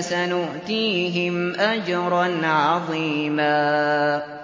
سَنُؤْتِيهِمْ أَجْرًا عَظِيمًا